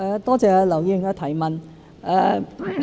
多謝劉議員的提問。